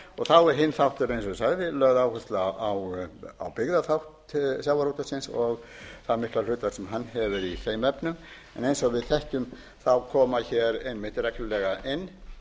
þá er hinn þátturinn eins og ég sagði lögð áhersla á byggðaþátt sjávarútvegsins og það mikla hlutverk sem hann hefur í þeim efnum eins og við þekkjum koma hér einmitt reglulega inn